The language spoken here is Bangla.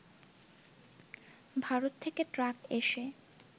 ভারত থেকে ট্রাক এসে